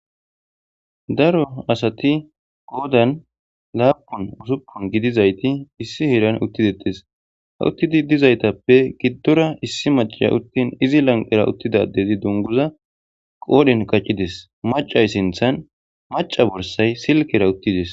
daro asati qodan laapun usuppun gidizayti issi hieran uttidetis ha uttidi dizaytappe giddora issi macaa uttin izi lanqera uttida adezi dunguza qoodhin kaccides, macay sinthan maca borsay silkera uttides.